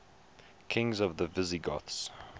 kings of the visigoths